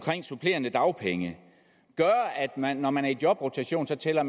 supplerende dagpenge gøre at man når man er i jobrotation så tæller